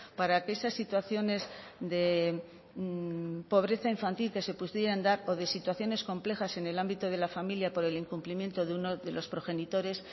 para que esas situaciones de pobreza infantil que se pudieran dar o de situaciones complejas en el ámbito de la familia por el incumplimiento de uno de los progenitores